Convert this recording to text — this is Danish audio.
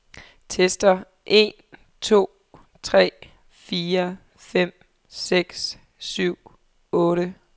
Tester en to tre fire fem seks syv otte.